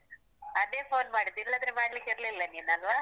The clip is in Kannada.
ಅದೇ phone ಮಾಡಿದ್ದು. ಇಲ್ಲದ್ರೆ ಮಾಡ್ಲಿಕ್ಕಿರ್ಲಿಲ್ಲ ನೀನಲ್ವಾ?